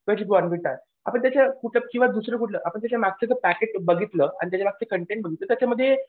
किंवा जे बोर्नव्हिटा आहे आता जे त्याच्यात दुसरं कुठलं आपण त्याच्या मागचं पॅकेट जर बघितलं त्याच्यातले कंटेन बघितले तर त्याच्यामध्ये